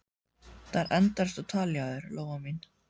Það er endalaust á tali hjá þér, Lóa mín.